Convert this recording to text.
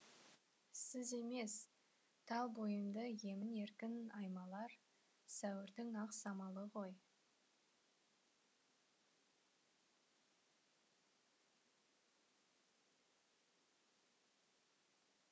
сіз емес тал бойымды емін еркін аймалар сәуірдің ақ самалы ғой